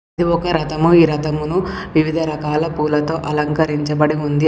ఇది ఒక రథము. ఈ రథమును వివిధ రకాల పూలతో అలంకరించబడి ఉంది.